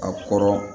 A kɔrɔ